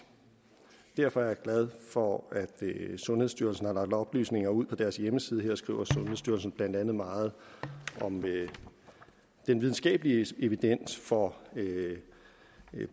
derfor er jeg glad for at sundhedsstyrelsen har lagt oplysninger ud på deres hjemmeside her skriver sundhedsstyrelsen blandt andet meget om den videnskabelige evidens for